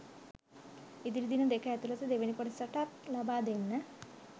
ඉදිරි දින දෙක ඇතුලත දෙවනි කොටසටත් ලබා දෙන්න